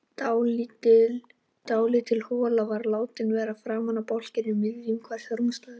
Dálítil hola var látin vera framan í bálkinn um miðju hvers rúmstæðis.